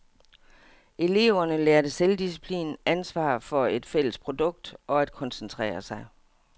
Eleverne lærer selvdisciplin, ansvar over for et fælles produkt og at koncentrere sig.